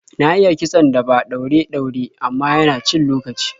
Na iya kitson da ba ɗaure-ɗaure, amma yana cin lokaci.